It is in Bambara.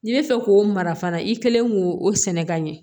N'i bɛ fɛ k'o mara fana i kɛlen k'o o sɛnɛ ka ɲɛ